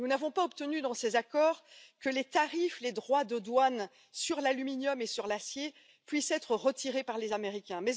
Nous n'avons pas obtenu, dans ces accords, que les droits de douane sur l'aluminium et sur l'acier puissent être retirés par les Américains.